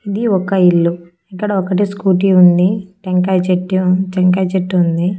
ఇది ఒక ఇల్లు ఇక్కడ ఒకటి స్కూటీ ఉంది టెంకాయ్ చెట్టు టెంకాయ్ చెట్టు ఉంది.